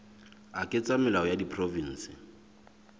a ketsa melao a diprovense